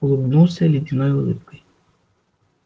улыбнулся ледяной улыбкой